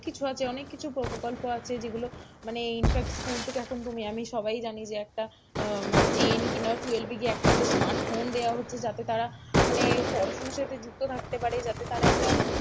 অনেক কিছু আছে অনেক কিছু প্রকল্প আছে যেগুলো মানে infact school থেকে এখন তুমি আমি সবাই জানি যে একটা মানে ten কিংবা twelve যে গিয়ে একটা করে স্মার্ট ফোন দেওয়া হচ্ছে যাতে তারা মানে পড়াশোনাতে সাথে যুক্ত থাকতে পারে যাতে তারা একটা,